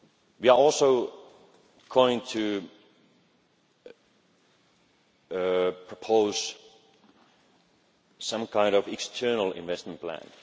We are also going to propose some kind of external investment